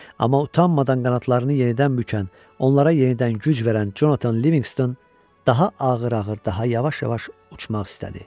Amma utanmadan qanadlarını yenidən bükən, onlara yenidən güc verən Conatan Livingston daha ağır-ağır, daha yavaş-yavaş uçmaq istədi.